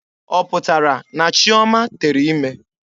Ọ pụtara na Chioma tere ime?